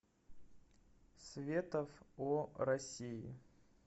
светов о россии